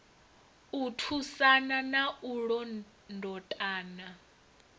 u thusana na u londotana